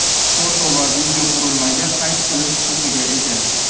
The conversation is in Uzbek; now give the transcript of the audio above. foto va video qurilmaga qayd qilish huquqiga ega.